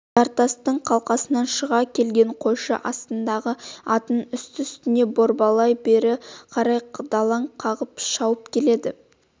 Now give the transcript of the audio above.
жартастың қалқасынан шыға келген қойшы астындағы атын үсті-үстіне борбайлап бері қарай далаң қағып шауып келеді